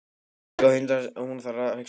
Þau eiga líka hund sem hún þarf að hugsa um.